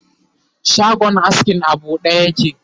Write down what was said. shagon askin a buɗe yake